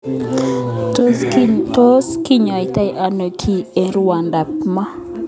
Tos kinyoitoi ano kii eng rwondo ab moo?